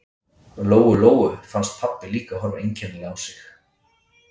Lóu-Lóu fannst pabbi líka horfa einkennilega á sig.